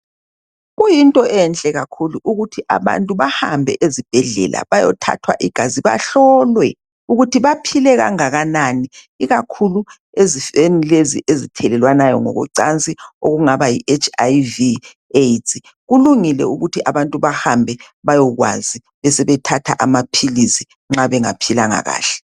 Kuyinto enhle kakhulu ukuthi abantu bahambe ezibhedlela beyothathwa igazi bahlolwe uktuthi baphile okungakanani ikakhulu ezifeni lezi ezithelelwanayo ngokocansi okungaba yi hiv aids kulungile ukuthi abantu bahambe bayokwazi besebethatha amaphilisi nxa bengaphilanga kahle.